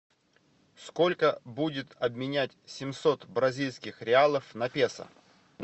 сколько будет обменять семьсот бразильских реалов на песо